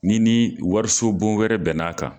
Ni ni wariso bon wɛrɛ bɛnna'a kan.